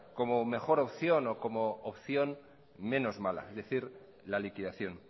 como mejor opción o como opción menos mala es decir la liquidación